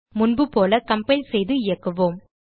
முன்புபோல கம்பைல் செய்து இயக்குவோம்